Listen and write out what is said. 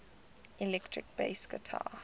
electric bass guitar